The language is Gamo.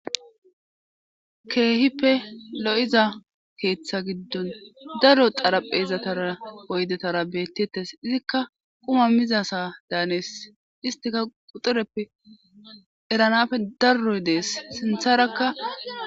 Keehippe lo7iza keeththa giddon darro xaraphezataa oydetara bettetes izikka quma mizasa daanees istika quxireppe eranafe darroy dees sintharakka